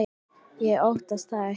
Ég óttast það ekki.